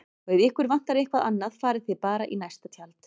Og ef ykkur vantar eitthvað annað farið þið bara í næsta tjald